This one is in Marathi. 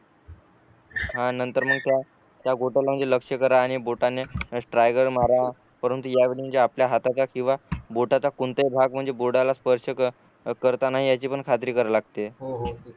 आणि नंतर मग त्या त्या गोट्याला लक्ष करा आणि बोटाने स्ट्रायगर मारा परंतु यावेळी ज्या आपल्या हाताचा किंवा बोटाचा कोणताही भाग म्हणजे बोर्डाला स्पर्श करता करणार नाही याची पण खात्री करावी लागते